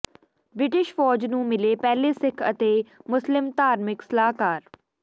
British ਫੌਜ ਨੂੰ ਮਿਲੇ ਪਹਿਲੇ ਸਿੱਖ ਅਤੇ ਮੁਸਲਿਮ ਧਾਰਮਿਕ ਸਲਾਹਕਾਰ